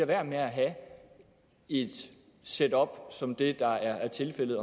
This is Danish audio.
være med at have et setup som det der er tilfældet